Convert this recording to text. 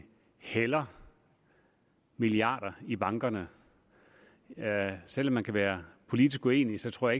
hælder milliarder i bankerne selv om man kan være politisk uenig tror